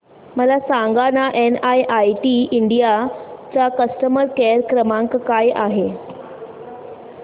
मला सांगाना NIIT India चा कस्टमर केअर क्रमांक काय आहे